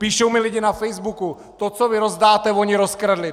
Píšou mi lidé na Facebooku: To, co vy rozdáte, oni rozkradli.